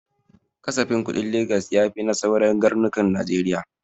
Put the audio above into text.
Kasafin kuɗin Legas ya fi na sauran garnukan najeriya